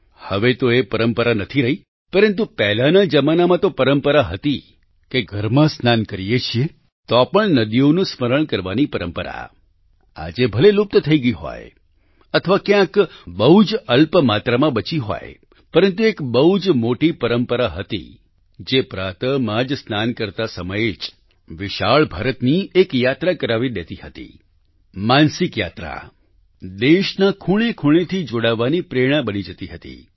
હવે તો એ પરંપરા નથી રહી પરંતુ પહેલાના જમાનામાં તો પરંપરા હતી કે ઘરમાં સ્નાન કરીએ છીએ તો પણ નદીઓનું સ્મરણ કરવાની પરંપરા આજે ભલે લુપ્ત થઈ ગઈ હોય અથવા ક્યાંક બહુ જ અલ્પમાત્રામાં બચી હોય પરંતુ એક બહુ જ મોટી પરંપરા હતી જે પ્રાતઃ માં જ સ્નાન કરતા સમયે જ વિશાળ ભારતની એક યાત્રા કરાવી દેતી હતી માનસિક યાત્રા દેશના ખૂણેખૂણેથી જોડાવાની પ્રેરણા બની જાતી હતી